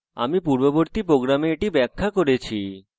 আমি পূর্ববর্তী program এটি ব্যাখ্যা করেছি